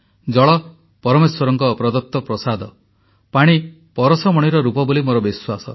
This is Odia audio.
ଜଳ ପରମେଶ୍ୱରଙ୍କ ପ୍ରଦତ୍ତ ପ୍ରସାଦ ଜଳ ପରଶମଣିର ରୂପ ବୋଲି ମୋର ବିଶ୍ୱାସ